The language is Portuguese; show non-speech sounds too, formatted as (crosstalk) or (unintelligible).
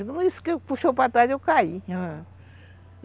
(unintelligible) nisso que puxou para trás, eu caí. (unintelligible)